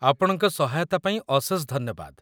ଆପଣଙ୍କ ସହାୟତା ପାଇଁ ଅଶେଷ ଧନ୍ୟବାଦ